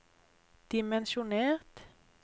dimensjonert